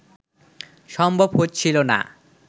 সম্ভব হচ্ছিল না